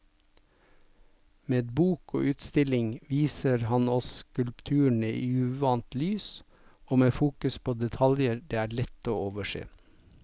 Med bok og utstilling viser han oss skulpturene i uvant lys og med fokus på detaljer det er lett å overse.